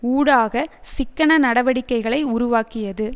ஊடாக சிக்கன நடவடிக்கைகளை உருவாக்கியது